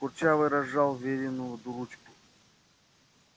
курчавый разжал верину ручку